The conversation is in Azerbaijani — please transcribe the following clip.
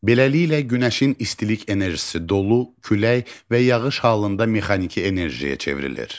Beləliklə, günəşin istilik enerjisi dolu, külək və yağış halında mexaniki enerjiyə çevrilir.